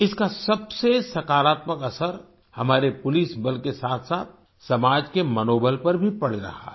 इसका सबसे सकरात्मक असर हमारे पुलिस बल के साथसाथ समाज के मनोबल पर भी पड़ रहा है